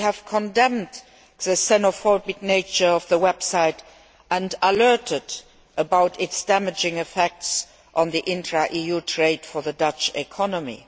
They have condemned the xenophobic nature of the website and warned about its damaging effects on intra EU trade for the Dutch economy.